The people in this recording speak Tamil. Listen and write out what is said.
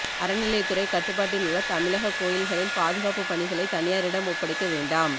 அறநிலையத்துறை கட்டுப்பாட்டில் உள்ள தமிழக கோயில்களில் பாதுகாப்புப் பணிகளை தனியாரிடம் ஒப்படைக்க வேண்டாம்